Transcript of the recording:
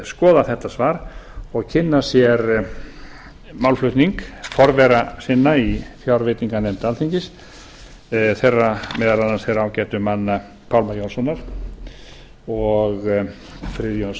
skoða þetta svar og kynna sér málflutning forvera sinna í fjárveitinganefnd alþingis meðal annars þeirra ágætu manna pálma jónssonar og friðjóns